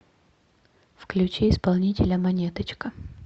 включи исполнителя монеточка